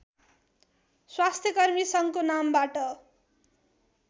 स्वास्थ्यकर्मी सङ्घको नामबाट